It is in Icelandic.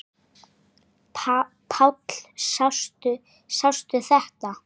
Páll: Sástu þetta?